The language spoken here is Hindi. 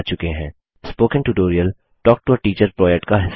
spoken tutorial talk to a teacher प्रोजेक्ट का हिस्सा है